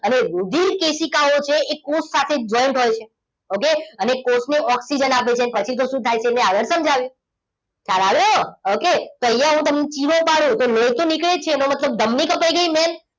અને રુધિરકેશિકાઓ છે એ કોષ સાથે joint હોય છે okay અને કોષ ને ઓક્સિજન આપે છે પછી તો શું થાય છે તે મેં આગળ સમજાવ્યું ખ્યાલ આવ્યો okay તો અહીંયા હું તમને ચિરો પાડું તો લોહી તો નીકળે જ છે એનો મતલબ ધમની કપાઈ ગઈ main